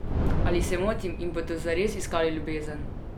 Ali se motim in bodo zares iskali ljubezen?